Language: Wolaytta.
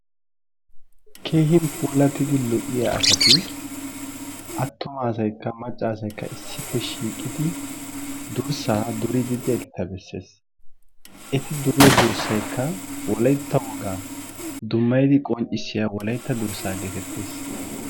keehin puulatidi lo'iya asati issippe shiiqidi dursaa duriidi diyageta besees. eti duriyo dursay wolaytta wogaa qonccissiyaga geetettees.